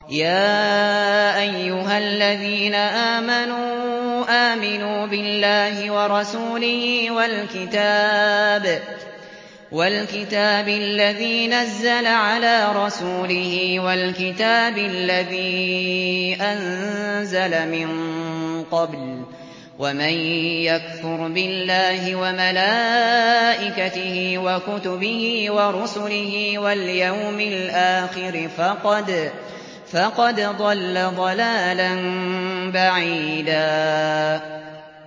يَا أَيُّهَا الَّذِينَ آمَنُوا آمِنُوا بِاللَّهِ وَرَسُولِهِ وَالْكِتَابِ الَّذِي نَزَّلَ عَلَىٰ رَسُولِهِ وَالْكِتَابِ الَّذِي أَنزَلَ مِن قَبْلُ ۚ وَمَن يَكْفُرْ بِاللَّهِ وَمَلَائِكَتِهِ وَكُتُبِهِ وَرُسُلِهِ وَالْيَوْمِ الْآخِرِ فَقَدْ ضَلَّ ضَلَالًا بَعِيدًا